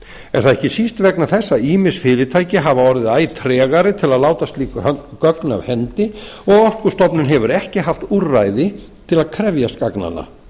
ekki síst vegna þess að ýmis fyrirtæki hafa orðið æ tregari til að láta slík gögn af hendi og orkustofnun hefur ekki haft úrræði til að krefjast gagnanna